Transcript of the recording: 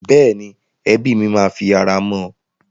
Bẹ́ẹ̀ni, ẹbí mi máa fi ara mọ́ ọn.